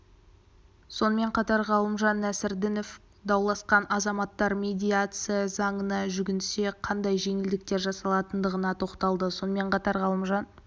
сонымен қатар ғалымжан нәсірдінов дауласқан азаматтар медиация заңына жүгінсе қандай жеңілдіктер жасалатындығына тоқталды сонымен қатар ғалымжан